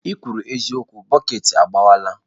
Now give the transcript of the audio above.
ikwuru eziokwu, bọket agbawala.